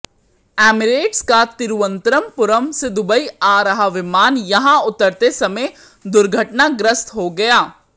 Emirates का तिरूवनंतपुरम से Dubai आ रहा विमान यहां उतरते समय दुर्घटनाग्रस्त हो गया